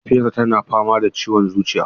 Mahaifiyarsa tana fama da ciwon zuciya.